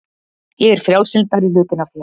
Ég er frjálslyndari hlutinn af þér.